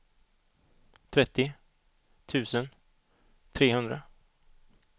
trettio tusen trehundra